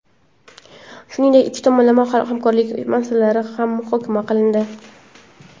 Shuningdek, ikki tomonlama hamkorlik masalalari ham muhokama qilindi.